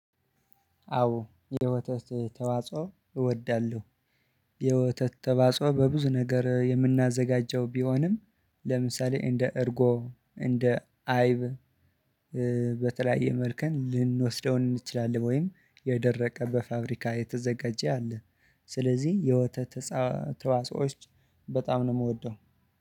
አዎ የወተት ተዋጽኦ እወዳለሁ። የወተት ተዋጽኦ በብዙ ነገር የምናዘጋጀው ቢሆንም ለምሳሌ እንደ እርጎ እንደ አይብ። በተለያየ መልከን ልንወስደው እንችላለን ወይም የደረቀ በፋብሪካ የተዘጋጀ አለ። ስለዚህ የወተት ተዋጾች በጣም ነው የምወደው።